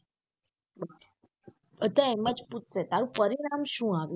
બધા એમ જ પૂછસે તારું પરિણામ સુ આવ્યું.